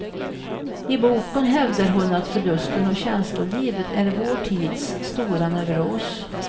I boken hävdar hon att förlusten av känslolivet är vår tids stora neuros.